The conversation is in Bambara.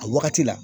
A wagati la